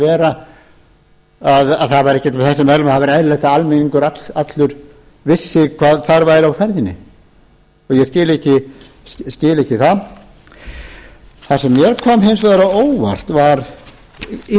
vera trúnaðarmál mér sýndist allt þar vera aðrar væri eðlilegt að almenningur allur vissi hvað þar væri ferðinni og ég skil ekki það það sem mér kom hins vegar á óvart var ýmislegt